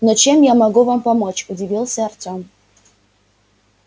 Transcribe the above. но чем я могу вам помочь удивился артём